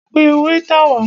Pẹ wáítà wá!